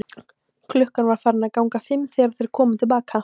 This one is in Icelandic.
Klukkan var farin að ganga fimm þegar þeir komu til baka.